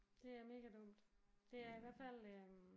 Det er mega dumt. Det er i hvert fald øh